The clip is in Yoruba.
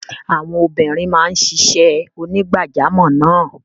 Àwọn obìnrin máa ń ṣiṣẹ́ onígbàjamọ̀ náà.